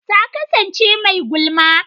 Ta kasance mai gulma.